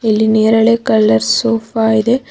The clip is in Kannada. ಇಲ್ಲಿ ನೇರಳೆ ಕಲರ್ ಸೋಫಾ ಇದೆ.